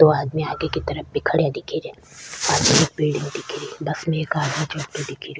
दो आदमी आगे की तरफ भी खड़ा दिखे रा एक बिलडिंग दिखे री बस में एक आदमी चढ़ातो दिखे रो।